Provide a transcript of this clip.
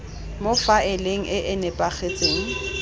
mo faeleng e e nepagetseng